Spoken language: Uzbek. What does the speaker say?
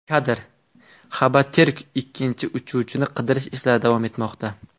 Kadr: Haberturk Ikkinchi uchuvchini qidirish ishlari davom etmoqda.